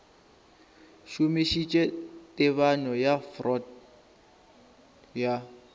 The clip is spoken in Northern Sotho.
šomišitše tebanyo ya freud ya